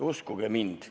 Uskuge mind.